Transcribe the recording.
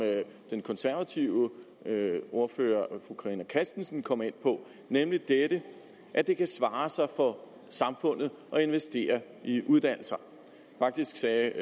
den konservative ordfører fru carina christensen kom ind på nemlig at det kan svare sig for samfundet at investere i uddannelse og faktisk sagde